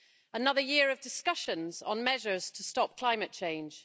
Another year of discussions on measures to stop climate change.